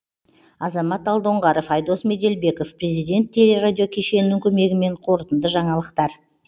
азамат алдоңғаров айдос меделбеков президент телерадио кешенінің көмегімен қорырынды жаңалықтар